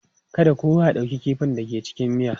Kada kowa ya ɗauki kifin da ke cikin miya.